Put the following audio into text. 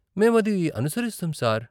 మేము అది అనుసరిస్తాం, సార్.